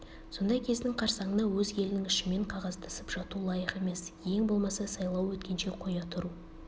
сондай кездің қарсаңына өз елінің ішімен қағаздасып жату лайық емес ең болмаса сайлау өткенше қоя тұру